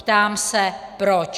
Ptám se proč.